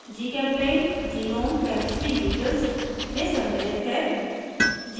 gchempaint gnome chemistry utils में सम्मिलित है